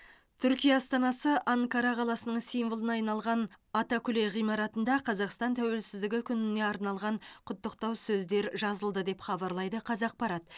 түркия астанасы анкара қаласының символына айналған атакүле ғимаратында қазақстан тәуелсіздігі күніне арналған құттықтау сөздер жазылды деп хабарлайды қазақпарат